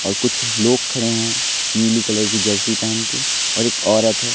और कुछ लोग खड़े हैं नीली कलर की जर्सी पहेन के और एक औरत है।